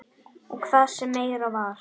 Og það sem meira var.